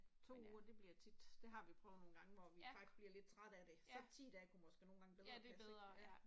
2 uger det bliver tit, det har vi prøvet nogle gange hvor vi faktisk bliver lidt trætte af det, så 10 dage kunne måske nogle gange bedre passe ik ja